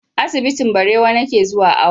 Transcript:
Asibitin Barewa na ke zuwa awo